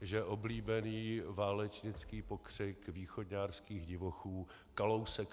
že oblíbený válečnický pokřik východňárských divochů Kalousek!